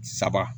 Saba